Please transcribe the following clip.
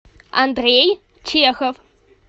андрей чехов